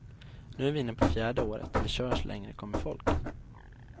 Nu är vi inne på fjärde året, vi kör så länge det kommer folk.